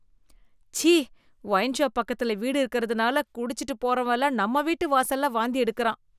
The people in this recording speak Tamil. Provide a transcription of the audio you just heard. சீ! ஒயின்ஷாப் பக்கத்துல வீடு இருக்கிறதுனால குடிச்சிட்டு போறவன் எல்லாம் நம்ம வீட்டு வாசல்ல வாந்தி எடுக்குறான்